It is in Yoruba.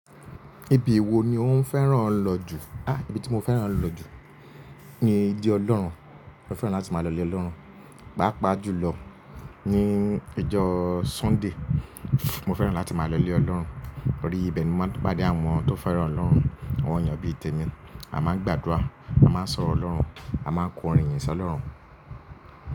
Ibi wo ni ó ń fẹ́ràn lọ jù? Á! Ibi tí mo fẹ́ràn lọ jù ni ilé Ọlọ́run. Mo fẹ́ràn láti máa lọ ilé Ọlọ́run, pàápàá jùlọ ní ọjọ́ Sunday. Mo fẹ́ràn láti máa lọ ilé Ọlọ́run, torí ibẹ̀ ni mo máa ń pàdé àwọn tó fẹ́ràn Ọlọ́run, àwọn ènìyàn bí i tèmi, a máa ń gbàdúrà, a máa ń sọ̀rọ̀ Ọlọ́run, a máa ń kọrin iyìn sọ́ Ọlọ́run.